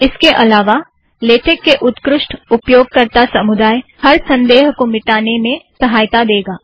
इसके अलावा लेटेक के उत्कृष्ट उपयोगकर्ता समुदाय हर संदेह को मिटाने में सहायता देगा